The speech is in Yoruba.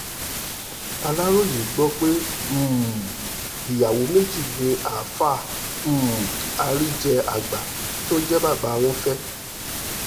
aláròye gbọ́ pé um ìyàwó méjì ni àáfàá um àríjẹ àgbà tó jẹ́ bàbá wọn fẹ́